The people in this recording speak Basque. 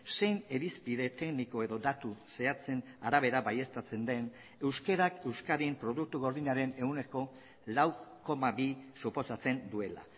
zein irizpide tekniko edo datu zehatzen arabera baieztatzen den euskarak euskadin produktu gordinaren ehuneko lau koma bi suposatzen duela